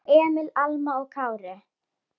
Elsku Emil, Alma og Kári.